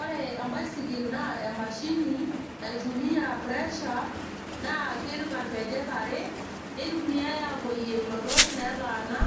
Ore embaisikil naa emashini naitumia pressure naa keeta nkejek are nitumiay apoyie lototot neetaana